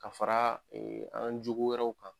Ka fara an jugu wɛrɛw kan.